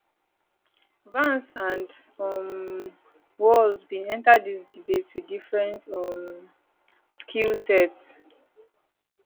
vance and um walz bin enta dis debate wit different um skill sets